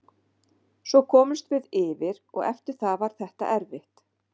Svo komumst við yfir og eftir það var þetta erfitt.